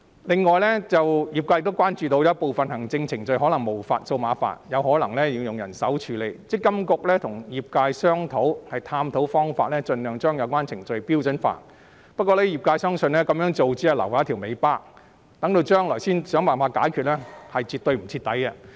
此外，業界又關注到有部分行政程序可能無法數碼化，仍要用人手處理，積金局跟業界正探討方法盡量將有關程序標準化，不過，業界相信這樣做只會留下一條尾巴，日後才想辦法解決是絕對不徹底的做法。